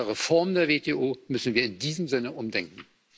Bei der Reform der WTO müssen wir in diesem Sinne umdenken.